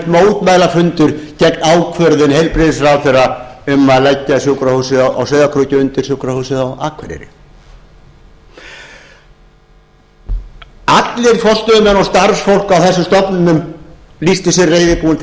mótmælafundur gegn ákvörðun heilbrigðisráðherra um að leggja sjúkrahúsið á sauðárkróki undir sjúkrahúsið á akureyri allir forstöðumenn og starfsfólk á þessum stofnunum lýsti sig reiðubúið til